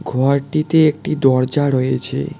ঘরটিতে একটি দরজা রয়েছে।